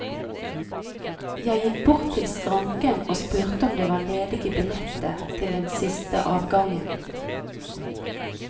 Jeg gikk bort i skranken og spurte om det var ledige billetter til den siste avgangen.